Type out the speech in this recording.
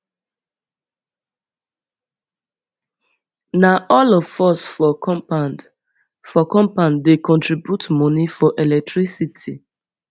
na all of us for compound for compound dey contribute moni for electricity